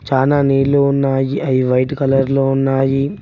చానా నీళ్లు ఉన్నాయి అవి వైట్ కలర్ లో ఉన్నాయి.